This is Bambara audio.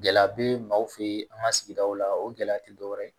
Gɛlɛya be maaw fe ye an ŋa sigidaw la o gɛlɛya ti dɔwɛrɛ ye